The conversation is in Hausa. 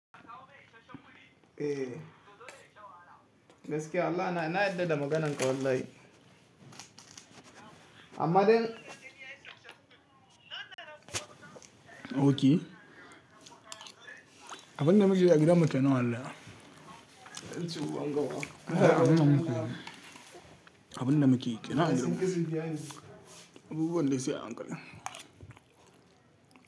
Eh gaskiya Allah na, ina yarda da maganarka wallahi. Amma dai. Ok. Abin da muke yi a gidan mu tuni wallahi. Ban san cewa an ga wa. Abin da muke yi, abin da muke yi. Abubuwan da suke a hankali.